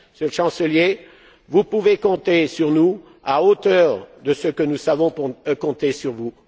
Monsieur le Chancelier, vous pouvez compter sur nous à hauteur de ce que nous savons compter sur vous.